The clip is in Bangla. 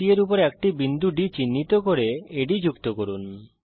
BC এর উপর একটি বিন্দু D চিহ্নিত করুন আদ যুক্ত করুন